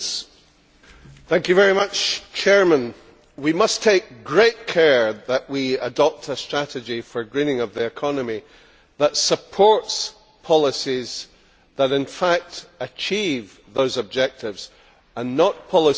Mr President, we must take great care that we adopt a strategy for greening of the economy that supports policies that in fact achieve those objectives, and not policies that achieve the exact opposite.